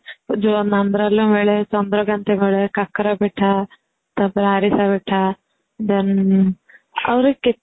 ଯୋଉ ବେଳେ କାକରା ପିଠା ତାପରେ ଆରିସା ପିଠା then ଆହୁରି